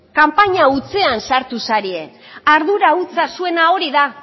kanpaina hutsean sartu zarete ardura hutsa zuena hori da